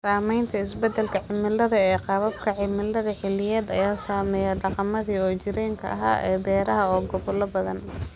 Saamaynta isbeddelka cimiladu ee qaababka cimilada xilliyeed ayaa saameeya dhaqamadii soo jireenka ahaa ee beeraha ee gobollo badan.